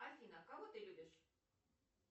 афина кого ты любишь